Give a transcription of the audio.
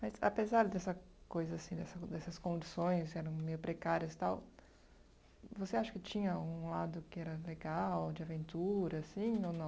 Mas apesar dessa coisa assim, dessa dessas condições que eram meio precárias e tal, você acha que tinha um lado que era legal, de aventura, assim, ou não?